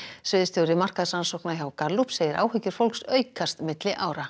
sviðsstjóri markaðsrannsókna hjá Gallup segir áhyggjur fólks aukast milli ára